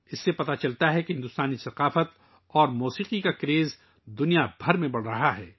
اس سے ظاہر ہوتا ہے کہ پوری دنیا میں بھارتی ثقافت اور موسیقی کا جنون بڑھ رہا ہے